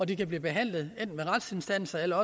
de kan blive behandlet enten ved retsinstanser eller